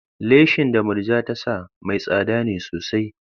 Leshin da Murja ta sa mai tsada ne sosai.